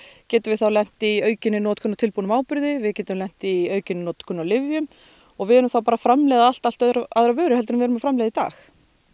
getum við þá lent í aukinni notkun á tilbúnum áburði við getum lent í aukinni notkun á lyfjum og við erum þá að framleiða allt allt aðra vöru en við erum að framleiða í dag